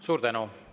Suur tänu!